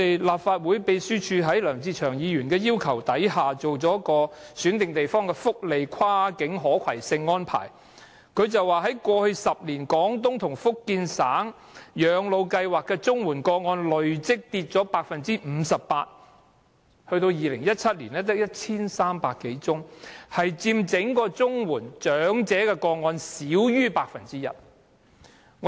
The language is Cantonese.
立法會秘書處在梁志祥議員要求下，研究了選定地方的福利跨境可攜性安排，指出在過去10年，在綜援長者廣東及福建省養老計劃的綜援個案累積下跌 58%， 到2017年只有 1,300 多宗，佔整體領取綜援的長者個案少於 1%。